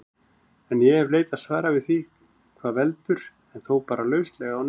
En ég hef leitað svara við því hvað veldur, en þó bara lauslega á Netinu.